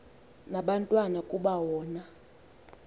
nabathwa kuba wona